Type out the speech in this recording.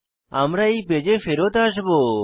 আমরা এই পেজে ফেরত আসবো